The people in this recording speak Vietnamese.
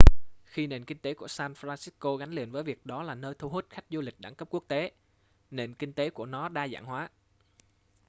khi nền kinh tế của san francisco gắn liền với việc đó là nơi thu hút khách du lịch đẳng cấp quốc tế nền kinh tế của nó đa dạng hóa